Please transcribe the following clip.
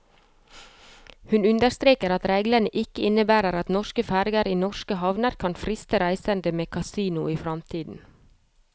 Hun understreker at reglene ikke innebærer at norske ferger i norske havner kan friste reisende med kasino i fremtiden.